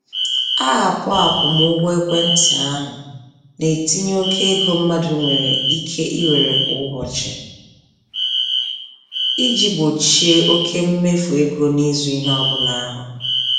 Aapụ-akwụmụgwọ-ekwentị ahụ na-etinye oke ego mmadụ nwere ike iwere kwa ụbọchị iji gbochie oke mmefu ego n'ịzụ ihe ọbụla a hụrụ.